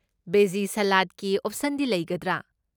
ꯕꯦꯖꯤ ꯁꯂꯥꯗꯀꯤ ꯑꯣꯞꯁꯟꯗꯤ ꯂꯩꯒꯗ꯭ꯔꯥ?